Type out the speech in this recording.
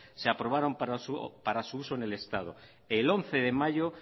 se aprobaron para su uso en el estado el once de mayo